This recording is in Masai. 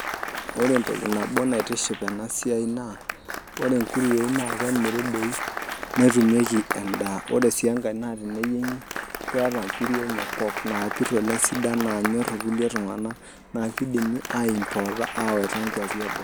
Ore entoki nabo naitiship ena siai naa ore inkuruei naa kemiri doi netumieki endaa ore sii enkae naa teneyiengi keetaa inkiri enye sidan napir oleng naanyor ilkulie tunganak naa keidimi aaa importa aawaiata inkuapi e boo.